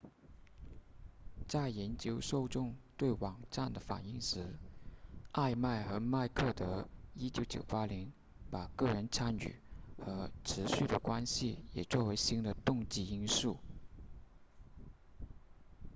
在研究受众对网站的反应时艾麦和麦克德1998年把个人参与和持续的关系也作为新的动机因素